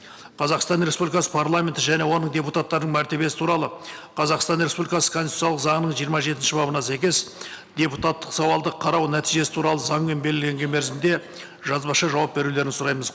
қазақстан республикасы парламенті және оның депутаттарының мәртебесі туралы қазақстан республикасы конституциялық занының жиырма жетінші бабына сәйкес депутаттық сауалды қарау нәтижесі туралы заңмен белгіленген мерзімде жазбаша жауап берулерін сұраймыз